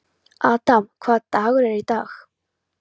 Adam, hvaða dagur er í dag?